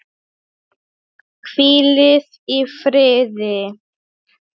Hvílið í friði.